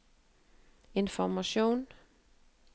informasjon